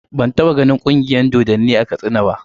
Ban taɓa ganin Ƙungiyar dodonni a Katsina ba.